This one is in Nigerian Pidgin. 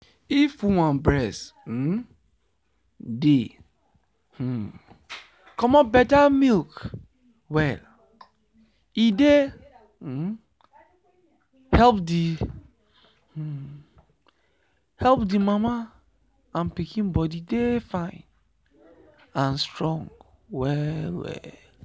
if woman breast um dey um comot better milk well e dey um help the um help the mama and pikin body dey fine and strong well well.